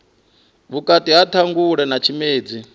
vhukati ha ṱhangule na tshimedzi